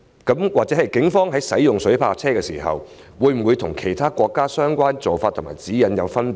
警方使用水炮車時，會否與其他國家的相關做法和指引有分別？